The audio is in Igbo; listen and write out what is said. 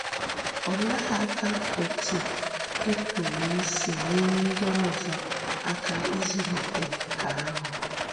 Òleèkà òtú ì pụrụ ísì nyèrè ndị òzò àká ízụ̀lìtè nkà ahụ?